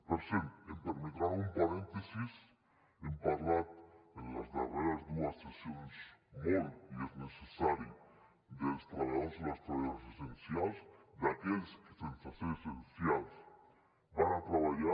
per cert permetin me un parèntesi hem parlat en les darreres dues sessions molt i és necessari dels treballadors i treballadores essencials d’aquells que sense ser essencials van a treballar